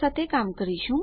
તો મને આગળનાં ભાગમાં મળો